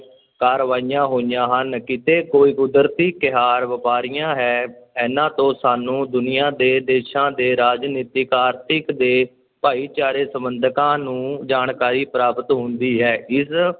ਕਾਰਵਾਈਆਂ ਹੋਈਆਂ ਹਨ ਕਿਤੇ ਕੋਈ ਕੁਦਰਤੀ ਕਹਿਰ ਵਾਪਰਿਆ ਹੈ, ਇਨ੍ਹਾਂ ਤੋਂ ਸਾਨੂੰ ਦੁਨੀਆਂ ਦੇ ਦੇਸ਼ਾਂ ਦੇ ਰਾਜਨੀਤਿਕ, ਆਰਥਿਕ ਤੇ ਭਾਈਚਾਰਕ ਸੰਬੰਧਕਾਂ ਨੂੰ ਜਾਣਕਾਰੀ ਪ੍ਰਾਪਤ ਹੁੰਦੀ ਹੈ, ਇਸ